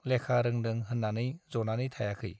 लेखा रोंदों होन्नानै जनानै थायाखै।